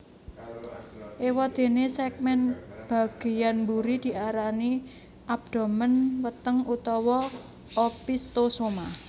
Éwadéné sègmèn bagéyan mburi diarani abdomen weteng utawa opisthosoma